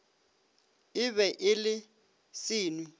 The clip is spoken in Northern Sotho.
e be e le senwi